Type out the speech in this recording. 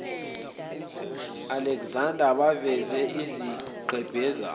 alexander baveza izigqebhezana